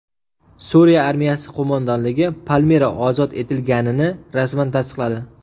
Suriya armiyasi qo‘mondonligi Palmira ozod etilganini rasman tasdiqladi .